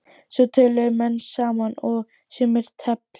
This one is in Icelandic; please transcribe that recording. Svo töluðu menn saman og sumir tefldu.